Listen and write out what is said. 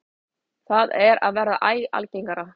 Það er að verða æ algengara.